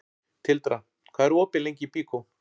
Tildra, hvað er opið lengi í Byko?